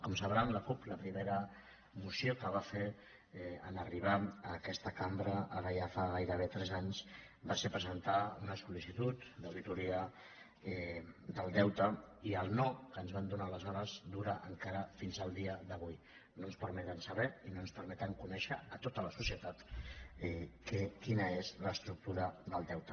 com sabran la cup la primera moció que va fer en arribar a aquesta cambra ara ja fa gairebé tres anys va ser presentar una sol·licitud d’auditoria del deute i el no que ens van donar aleshores dura encara fins al dia d’avui no ens permeten saber i no ens permeten conèixer a tota la societat quina és l’estructura del deute